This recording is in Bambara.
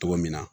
Togo min na